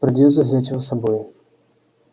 придётся взять его с собой